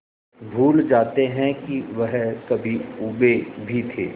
भूल जाते हैं कि वह कभी ऊबे भी थे